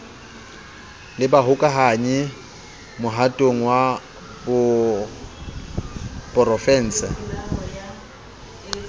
le bahokahanyi mohatong wa porofense